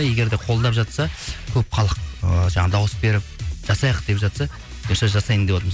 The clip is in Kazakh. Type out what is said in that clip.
егер де қолдап жатса көп халық ыыы жаңағы дауыс беріп жасайық деп жатса бұйырса жасайын деватырмыз